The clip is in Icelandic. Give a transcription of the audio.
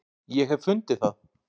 ég hef fundið það!